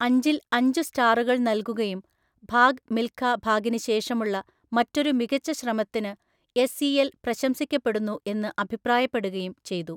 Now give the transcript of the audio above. അഞ്ചില്‍അഞ്ചു സ്റ്റാറുകൾ നൽകുകയും ഭാഗ് മിൽഖ ഭാഗിന് ശേഷമുള്ള മറ്റൊരു മികച്ച ശ്രമത്തിന് എസ് ഇ എൽ പ്രശംസിക്കപ്പെടുന്നു എന്ന് അഭിപ്രായപ്പെടുകയും ചെയ്തു.